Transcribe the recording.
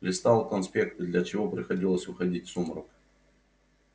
листал конспекты для чего приходилось уходить в сумрак